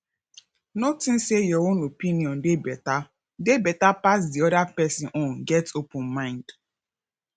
no think sey your own opinion dey better dey better pass di oda person own get open mind